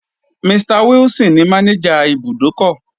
Mr wilson ní manager ibùdókọ̀.